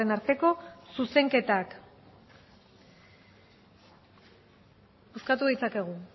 arteko zuzenketak bozkatu ditzakegu